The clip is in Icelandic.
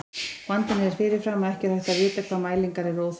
Vandinn er að fyrirfram er ekki hægt að vita hvaða mælingar eru óþarfar.